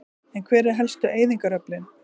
En hver eru helstu eyðingaröflin?